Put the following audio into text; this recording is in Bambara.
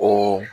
O